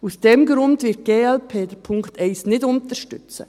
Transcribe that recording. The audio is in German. Aus diesem Grund wird die glp den Punkt 1 nicht unterstützen.